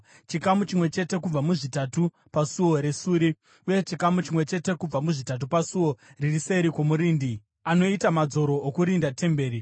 chikamu chimwe chete kubva muzvitatu paSuo reSuri, uye chikamu chimwe chete kubva muzvitatu pasuo riri seri kwomurindi, anoita madzoro okurinda temberi,